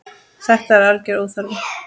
Þetta er algjör óþarfi.